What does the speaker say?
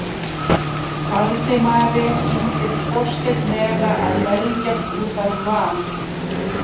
Valdimari sýndist Þorsteinn vera að belgjast út af van